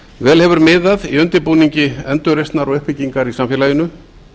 vel hefur miðað í undirbúningi endurreisnar og uppbyggingar í samfélaginu